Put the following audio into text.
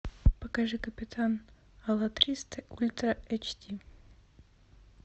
покажи капитан алатристе ультра эйч ди